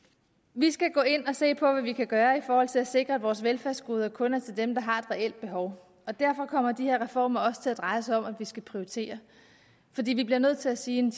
vi skal gå ind og se på hvad vi kan gøre i forhold til at sikre at vores velfærdsgoder kun er til dem der har et reelt behov derfor kommer de her reformer også til at dreje sig om at vi skal prioritere fordi vi bliver nødt til at sige at